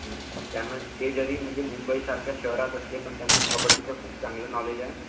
ते जरी मुंबई सारख्या शहरात असले तरी त्यांना कबड्डीचं खूप चांगलं नॉलेज आहे